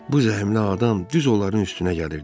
Bu zəhmli adam düz onların üstünə gəlirdi.